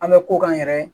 An bɛ ko k'an yɛrɛ ye